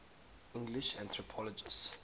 english anthropologists